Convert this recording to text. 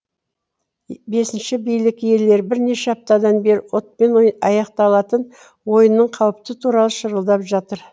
бесінші билік иелері бірнеше аптадан бері отпен аяқталатын ойынның қаупті туралы шырылдап жатыр